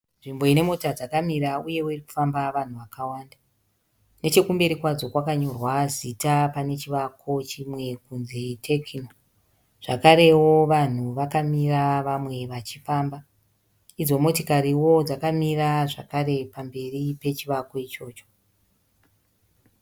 Nzvimbo ine mota dzakamira uyewo irikufamba vanhu vakawanda . Nechekumberi kwadzo kwakanyorwa zita panechivakwa chimwe kuti Techno. Zvakarewo vanhu vakamira vamwe vachifamba. Idzo Motokariwo dzakamira zvakare pamberi pechivakwa ichocho.